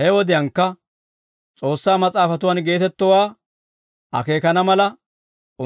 He wodiyaankka S'oossaa Mas'aafatuwan geetettowaa akeekaana mala,